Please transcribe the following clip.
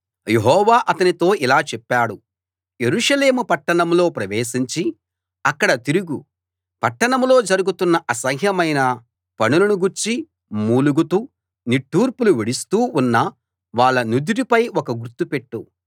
యెహోవా అతనితో ఇలా చెప్పాడు యెరూషలేము పట్టణంలో ప్రవేశించి అక్కడ తిరుగు పట్టణంలో జరుగుతున్న అసహ్యమైన పనులను గూర్చి మూలుగుతూ నిట్టూర్పులు విడుస్తూ ఉన్న వాళ్ళ నుదుటిపై ఒక గుర్తు పెట్టు